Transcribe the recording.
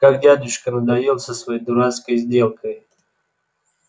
как дядюшка надоел со своей дурацкой сделкой